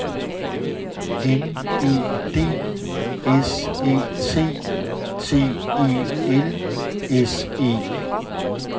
N E D S Æ T T E L S E